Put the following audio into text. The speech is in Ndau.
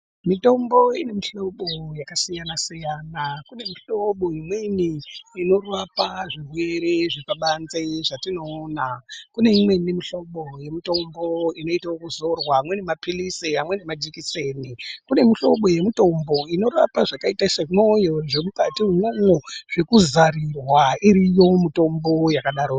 Mitombo ine mihlobo yakasiyana siyana kune mihlobo imweni inorapa zvirwere zvepabanze zvatinoona kune imweni mihlobo yemitombo inoite ekuzorwa amweni mapilisi amweni majekiseni kune mihlobo yemutombo inorape zvakaita semwoyo zvemukati imwomwo zvekuzarirwa iriyo mitombo yakadaro.